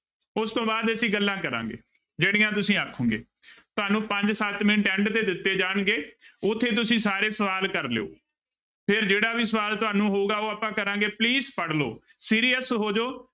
ਉਸ ਤੋਂ ਬਾਅਦ ਅਸੀਂ ਗੱਲਾਂ ਕਰਾਂਗੇ, ਜਿਹੜੀਆਂ ਤੁਸੀਂ ਆਖੋਂਗੇ ਤੁਹਾਨੂੰ ਪੰਜ ਸੱਤ ਮਿੰਟ end ਤੇ ਦਿੱਤੇ ਜਾਣਗੇ ਉੱਥੇ ਤੁਸੀਂ ਸਾਰੇ ਸਵਾਲ ਕਰ ਲਇਓ, ਫਿਰ ਜਿਹੜਾ ਵੀ ਸਵਾਲ ਤੁਹਾਨੂੂੰ ਹੋਊਗਾ ਉਹ ਆਪਾਂ ਕਰਾਂਗੇ please ਪੜ੍ਹ ਲਓ serious ਹੋ ਜਾਓ।